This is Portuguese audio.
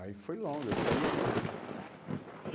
Aí foi longo, eu saí esse ano. Ah, você saiu esse e